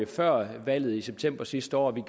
før valget i september sidste år og vi